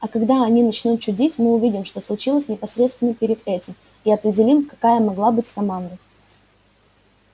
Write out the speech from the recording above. а когда они начнут чудить мы увидим что случилось непосредственно перед этим и определим какая могла быть команда